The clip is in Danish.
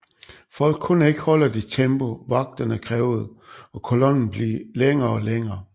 Folk kunne ikke holde det tempo vagterne krævede og kollonen blev længere og længere